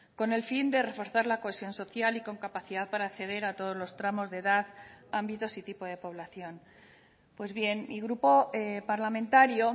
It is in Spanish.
con el fin de reforzar la cohesión social y con capacidad para acceder a todos los tramos de edad ámbitos y tipo de población pues bien mi grupo parlamentario